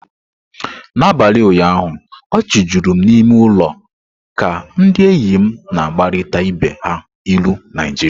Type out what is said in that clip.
N'abalị ụnyaahụ, ọchị juru n'ime ụlọ ka ndị enyi m na-agbarịta ibe ha ilu Naijiria.